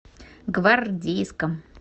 гвардейском